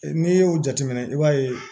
N'i y'o jateminɛ i b'a ye